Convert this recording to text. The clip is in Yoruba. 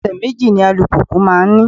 Ẹsẹ méjì ni alùpùpù máa ń ní